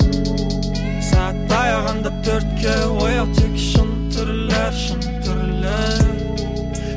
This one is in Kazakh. сағат таяғанда төртке оят тек шын түрлі шын түрлі